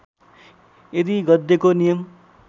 यदि गद्यको नियम